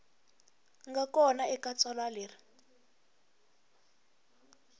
nga kona eka tsalwa leri